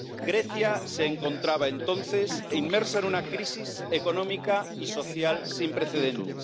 Grecia se encontraba entonces inmersa en una crisis económica y social sin precedentes.